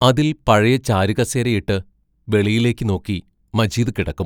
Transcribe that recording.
അതിൽ പഴയ ചാരുകസേരയിട്ട്, വെളിയിലേക്ക് നോക്കി മജീദ് കിടക്കും.